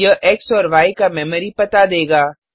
यह एक्स और य का मेमोरी पता देगा